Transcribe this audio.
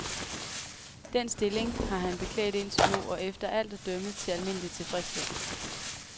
Den stilling har han beklædt indtil nu, og, efter alt at dømme, til almindelig tilfredshed.